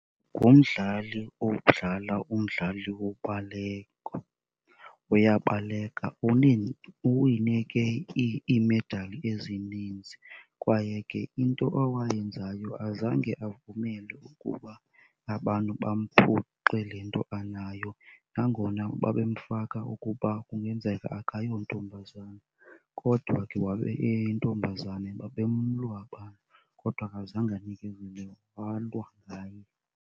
Ngumdlali odlala umdlalo wobaleka, uyabaleka. Uwine ke iimedali ezininzi kwaye ke into awayenzayo azange avumele ukuba abantu bamphuce le nto anayo nangona babemfaka ukuba kungenzeka akayontombazana kodwa ke wabe eyintombazane. Babemlwa abantu kodwa akazange anikezele walwa ngaye.